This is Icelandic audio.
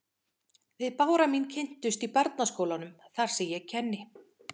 Við Bára mín kynntumst í barnaskólanum þar sem ég kenni.